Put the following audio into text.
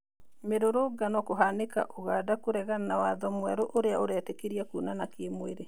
Mĩrũrũngano kũhanĩka ũganda kũregana na watho mwerũũrĩa ũretĩkĩria kwonana kimwĩrĩ.